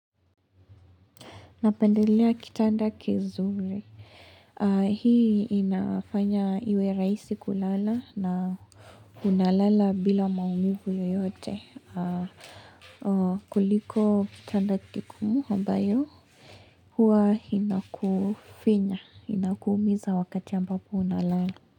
Napendelea kitanda kizuri. Hii inafanya iwe rahisi kulala na unalala bila maumivu yeyote. Kuliko kitanda kigumu ambayo huwa inakufinya, inakuumiza wakati ambapo unalala.